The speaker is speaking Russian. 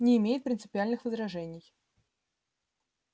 не имеет принципиальных возражений